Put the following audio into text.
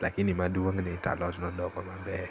to gima duong' en ni to alot nodongo maber.